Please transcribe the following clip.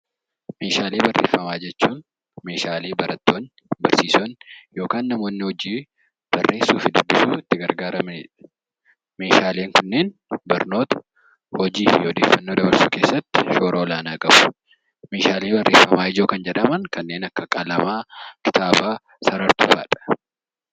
Meeshaalee barreeffamaa jechuun meeshaalee barattoonni, barsiisonni yookaan namoonni hojii barreessuu fi dubbisuun itti gargaaramanidha. Meeshaaleen kunneen barnoota, hojii fi odeeffannoo dabarsuu keessatti shoora olaanaa qabu. Meeshaalee barreeffamaa jedhaman kanneen akka qalamaa, kitaabaa, sarartuu fa'adha.